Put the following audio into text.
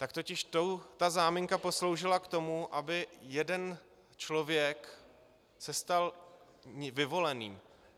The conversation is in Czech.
Tak totiž ta záminka posloužila k tomu, aby jeden člověk se stal vyvoleným.